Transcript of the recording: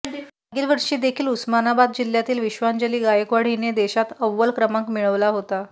मागील वर्षी देखील उस्मानाबाद जिल्ह्यातील विश्वांजली गायकवाड हिने देशात अव्वल क्रमांक मिळवला होता